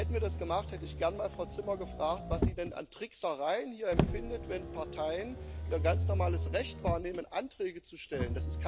Hätten wir das gemacht, hätte ich gern mal Frau Zimmer gefragt, was sie denn hier als Tricksereien empfindet, wenn Parteien ihr ganz normales Recht wahrnehmen, Anträge zu stellen.